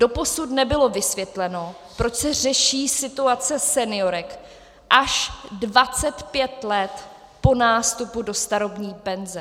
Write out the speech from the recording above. Doposud nebylo vysvětleno, proč se řeší situace seniorek až 25 let po nástupu do starobní penze.